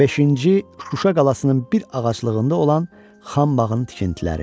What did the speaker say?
Beşinci Şuşa qalasının bir ağaclığında olan Xəmbaxın tikintiləri.